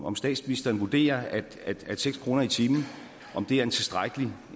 om statsministeren vurderer at seks kroner i timen er en tilstrækkelig